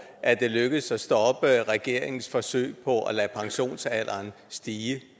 at det lykkedes at stoppe regeringens forsøg på at lade pensionsalderen stige